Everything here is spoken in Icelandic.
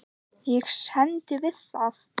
Ég stend við það.